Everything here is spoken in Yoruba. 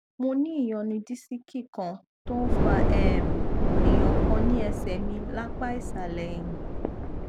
mo ní ìyọnu disiki kan tó ń fa um èèyàn kan ní ẹsẹ mi lápá ìsàlẹ ẹyìn